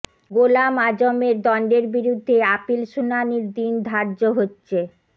গোলাম আযমের দণ্ডের বিরুদ্ধে আপিল শুনানির দিন ধার্য হচ্ছে